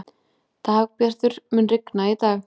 Dagbjartur, mun rigna í dag?